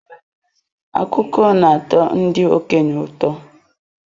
Akụkọ na-atọ ndị okenye ụtọ.